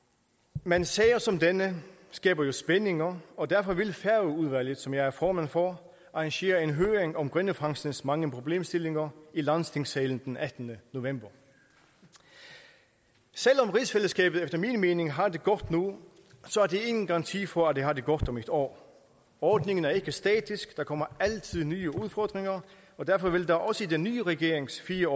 men sager som denne skaber jo spændinger og derfor vil færøudvalget som jeg er formand for arrangere en høring om grindefangstens mange problemstillinger i landstingssalen den attende november selv om rigsfællesskabet efter min mening har det godt nu er det ingen garanti for at det har det godt om et år ordningen er ikke statisk der kommer altid nye udfordringer og derfor vil der også i den nye regerings fire